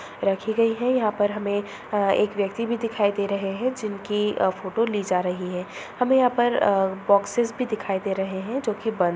रखी गई है| यहाँ पर हमें अ एक व्यक्ति भी दिखाई दे रहे हैं जिनकी फोटो ली जा रही है| हमें यहाँ पर अ बोक्सेस भी दिखाई दे रहे हैं जो की बंद--